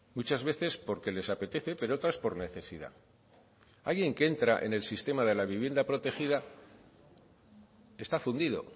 muchas veces porque les apetece pero otras por necesidad alguien que entra en el sistema de la vivienda protegida está fundido